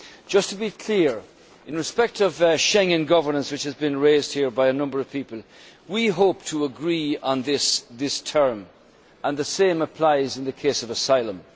Just to be clear in respect of Schengen governance, which has been raised here by a number of people, we hope to agree on this during this term, and the same applies in the case of asylum.